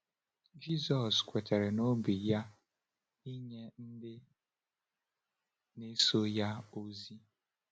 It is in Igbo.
Jisọs kwetara n’obi ya inye ndị na-eso ya ozi.